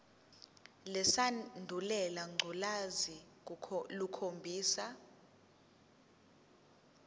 lesandulela ngculazi lukhombisa